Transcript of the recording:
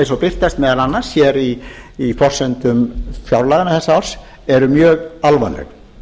eins og birtist meðal annars hér í forsendum fjárlaga þessa árs er mjög alvarleg